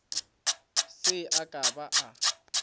se a ka a ba